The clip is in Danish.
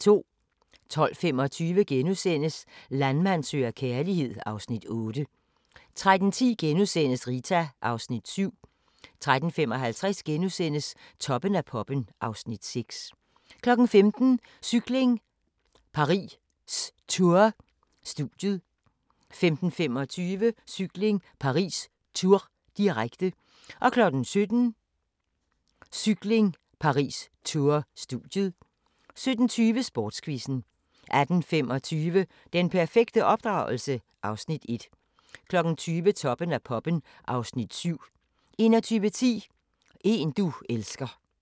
12:25: Landmand søger kærlighed (Afs. 8)* 13:10: Rita (Afs. 7)* 13:55: Toppen af poppen (Afs. 6)* 15:00: Cykling: Paris-Tours - studiet 15:25: Cykling: Paris-Tours, direkte 17:00: Cykling: Paris-Tours - studiet 17:20: Sportsquizzen 18:25: Den perfekte opdragelse? (Afs. 1) 20:00: Toppen af poppen (Afs. 7) 21:10: En du elsker